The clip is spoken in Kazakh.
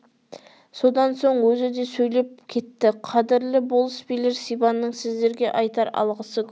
содан соң өзі де сөйлеп кеттіқадірлі болыс билер сибанның сіздерге айтар алғысы көп